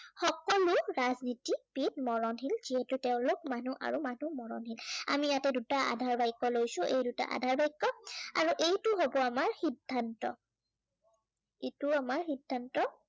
সকলো ৰাজনীতিবিদ মৰণশীল, যিহেতু তেওঁলোক মানুহ আৰু মানুহ মৰণশীল। আমি ইয়াতে দুটা আধাৰ বাক্য় লৈছো। এই দুটা আধাৰ বাক্য় আৰু এইটো হব আমাৰ সিদ্ধান্ত। এইটো আমাৰ সিদ্ধান্ত।